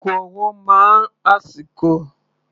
Ago ọwọ́ máa ń àsìkò.